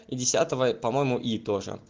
и десятого по-моему и тоже